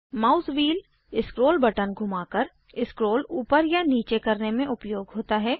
mouse wheel scroll button घुमाकर scroll ऊपर और नीचे करने में उपयोग होता है